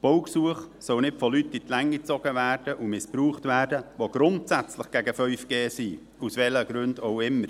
Die Baugesuche sollen nicht von Leuten in die Länge gezogen werden, die grundsätzlich gegen 5G sind, aus welchen Gründen auch immer.